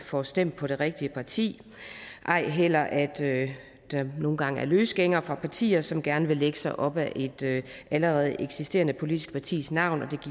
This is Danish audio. får stemt på det rigtige parti ej heller at der nogle gange er løsgængere fra partier som gerne vil lægge sig op ad et allerede eksisterende politisk partis navn det